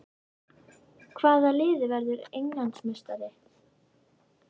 Hvaða lið verður Englandsmeistari?